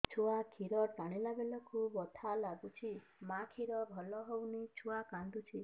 ଛୁଆ ଖିର ଟାଣିଲା ବେଳକୁ ବଥା ଲାଗୁଚି ମା ଖିର ଭଲ ହଉନି ଛୁଆ କାନ୍ଦୁଚି